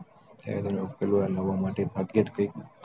નું પેલું લેવા માટે ભાગ્યજ કૈક